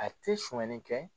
A tɛ sonyali kɛ